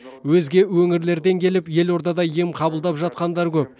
өзге өңірлерден келіп елордада ем қабылдап жатқандар көп